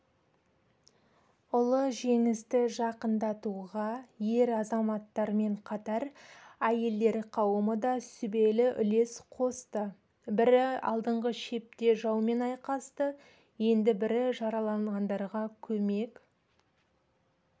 ұлы жеңісті жақындатуға ер азаматтармен қатар әйелдер қауымы да сүбелі үлес қосты бірі алдыңғы шепте жаумен айқасты енді бірі жараланғандарға көмек